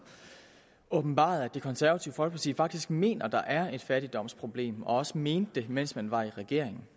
åbenbarede at det konservative folkeparti faktisk mener at der er et fattigdomsproblem og også mente det mens man var i regering